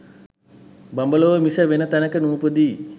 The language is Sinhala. බඹලොව මිස වෙන තැනක නූපදියි.